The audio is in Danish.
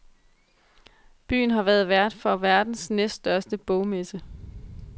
Byen har netop været vært for verdens næststørste bogmesse.